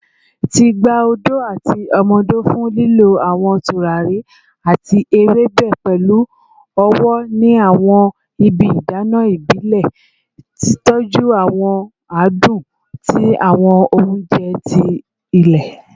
Ti gba odo ati omo odo fun lilọ awọn turari ati ewebe pẹlu ọwọ ni awọn ibi idana ibile, titọju awọn adun ti awọn ounjẹ ti ile